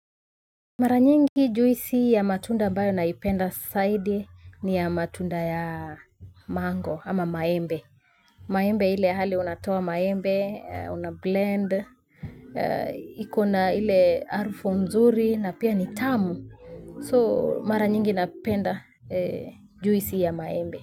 Mara nyingi juisi ya matunda ambayo naipenda zaidi ni ya matunda ya mango ama maembe. Maembe ile hali unatoa maembe, unablend, ikona ile harufu mzuri na pia ni tamu. So mara nyingi napenda juisi ya maembe.